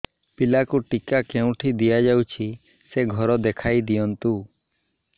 ପିଲାକୁ ଟିକା କେଉଁଠି ଦିଆଯାଉଛି ସେ ଘର ଦେଖାଇ ଦିଅନ୍ତୁ